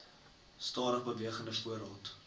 stadig bewegende voorraad